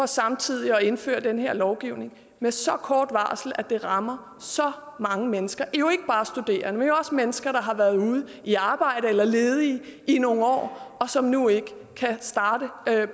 samtidig indfører den her lovgivning med så kort varsel at det rammer så mange mennesker jo ikke bare studerende men også mennesker der har været ude i arbejde eller ledige i nogle år og som nu ikke kan starte